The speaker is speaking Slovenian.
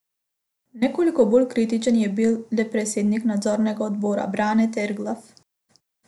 Nekoliko bolj kritičen je bil le predsednik nadzornega odbora Brane Terglav.